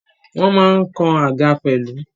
Wọ́n ma ń kan àga pẹ̀lú.